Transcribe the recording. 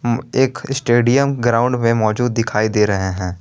एक stadium ground में मौजूद दिखाई दे रहे हैं।